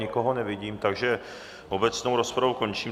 Nikoho nevidím, takže obecnou rozpravu končím.